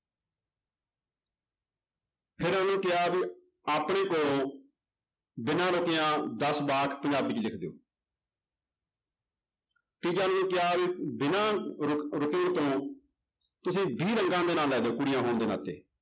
ਫਿਰ ਕਿਹਾ ਵੀ ਆਪਣੇ ਕੋਲੋਂ ਬਿਨਾਂ ਰੁੱਕਿਆਂ ਦਸ ਵਾਕ ਪੰਜਾਬੀ ਵਿੱਚ ਲਿਖ ਦਿਓ ਤੀਜਾ ਉਹਨਾਂ ਨੂੰ ਕਿਹਾ ਵੀ ਬਿਨਾਂ ਰੁਕ ਰੁਕੇ ਤੋਂ ਤੁਸੀਂ ਵੀਹ ਰੰਗਾਂ ਦੇ ਨਾਂ ਲੈ ਦਓ ਕੁੜੀਆਂ ਹੋਣ ਦੇ ਨਾਤੇੇ